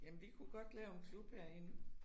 Jamen vi kunne godt lave en klub herinde